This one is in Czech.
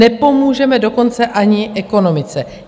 Nepomůžeme dokonce ani ekonomice.